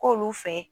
K'olu fɛ